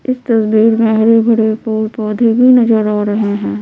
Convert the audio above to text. इस तस्वीर मै हरे भरे फूल पौधे भी नज़र आ रहे है।